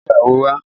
Gbé àwo wá!